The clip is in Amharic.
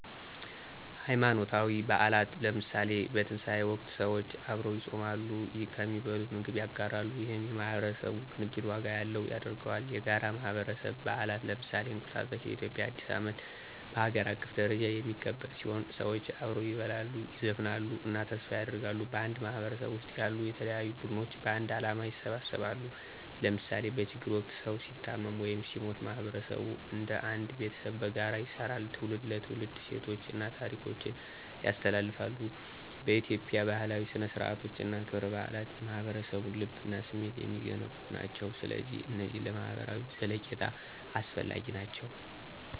ሃይማኖታዊ በዓላት ለምሳሌ፣ በትንሣኤ ወቅት ሰዎች አብረው ይጾማሉ፣ ከሚበሉት ምግብ ያጋራሉ፣ ይህም የማህበረሰብ ቅንጅት ዋጋ ያለው ያደርገዋል። የጋራ የማህበረሰብ በዓላት ለምሳሌ፣ እንቁጣጣሽ (የኢትዮጵያ አዲስ ዓመት) በሀገር አቀፍ ደረጃ የሚከበር ሲሆን፣ ሰዎች አብረው ይበላሉ፣ ይዘፍናሉ እና ተስፋ ያደርጋሉ። በአንድ ማህበረሰብ ውስጥ ያሉ የተለያዩ ቡድኖች በአንድ ዓላማ ይሰባሰባሉ ለምሳሌ በችግር ወቅት ሰዉ ሲታመም ወይም ሲሞት ማህበረሰቡ እንደ አንድ ቤተሰብ በጋራ ይሰራል። ትውልድ ለትውልድ እሴቶችን እና ታሪኮችን ያስተላልፋል። በኢትዮጵያ፣ ባህላዊ ሥነ-ሥርዓቶች እና ክብረ በዓላት የማህበረሰቡን ልብ እና ስሜት የሚገነቡ ናቸው። ስለዚህ እነዚህ ለማህበራዊ ዘለቄታ አስፈላጊ ናቸው!